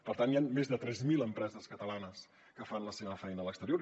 per tant hi han més de tres mil empreses catalanes que fan la seva feina a l’exterior